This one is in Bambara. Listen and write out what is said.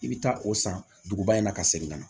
I bɛ taa o san duguba in na ka segin ka na